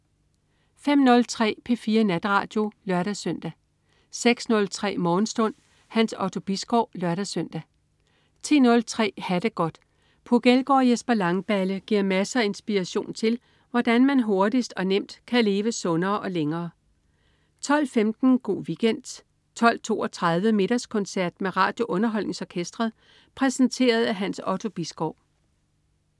05.03 P4 Natradio (lør-søn) 06.03 Morgenstund. Hans Otto Bisgaard (lør-søn) 10.03 Ha' det godt. Puk Elgård og Jesper Langballe giver masser af inspiration til, hvordan man hurtigt og nemt kan leve sundere og længere 12.15 Go' Weekend 12.32 Middagskoncert med RadioUnderholdningsOrkestret. Præsenteret af Hans Otto Bisgaard